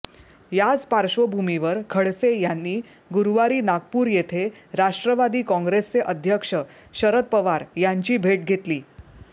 याच पार्श्वभूमीवर खडसे यांनी गुरुवारी नागपूर येथे राष्ट्रवादी काँग्रेसचे अध्यक्ष शरद पवार यांची भेट घेतली